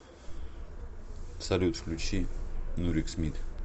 салют включи нурик смит